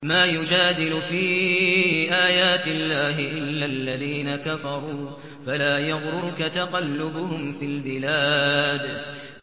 مَا يُجَادِلُ فِي آيَاتِ اللَّهِ إِلَّا الَّذِينَ كَفَرُوا فَلَا يَغْرُرْكَ تَقَلُّبُهُمْ فِي الْبِلَادِ